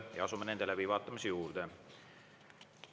Ja asume nende läbivaatamise juurde.